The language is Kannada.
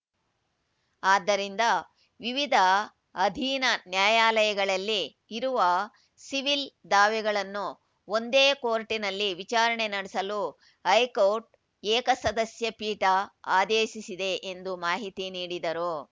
ಆದ್ದರಿಂದ ವಿವಿಧ ಅಧೀನ ನ್ಯಾಯಾಲಯಗಳಲ್ಲಿ ಇರುವ ಸಿವಿಲ್‌ ದಾವೆಗಳನ್ನು ಒಂದೇ ಕೋರ್ಟಿನಲ್ಲಿ ವಿಚಾರಣೆ ನಡೆಸಲು ಹೈಕೋರ್ಟ್‌ ಏಕಸದಸ್ಯಪೀಠ ಆದೇಶಿಸಿದೆ ಎಂದು ಮಾಹಿತಿ ನೀಡಿದರು